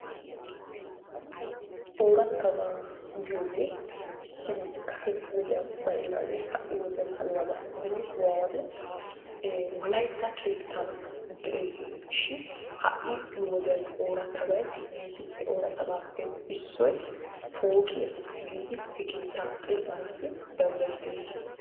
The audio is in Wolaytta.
Orattaabba giyogee issibi kasee wodiyanni baynagee ha'i wowodiyani haniyabaa, benni nu awatti wollaytta kettanni dee'ssi shin, ha'i nu wodiyanni orrattabayyi yissi, he orttaa bappe issoy poqiyaa giddi hee kettaa xessannassi dandayettessi.